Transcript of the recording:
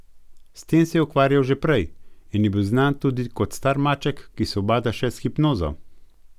S tem se je ukvarjal že prej in je bil znan tudi kot star maček, ki se ubada še s hipnozo.